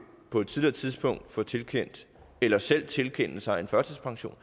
på et tidligere tidspunkt få tilkendt eller selv tilkende sig en førtidspension